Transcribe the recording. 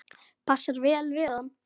Passar vel við hann.